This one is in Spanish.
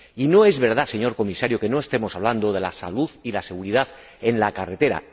Y no es verdad, señor Comisario, que no estemos hablando de la salud y la seguridad en la carretera.